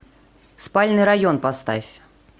спальный район поставь